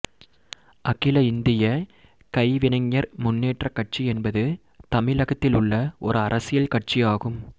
அகில இந்திய கைவினைஞர் முன்னேற்றக் கட்சி என்பது தமிழகத்திலுள்ள ஒரு அரசியல் கட்சியாகும்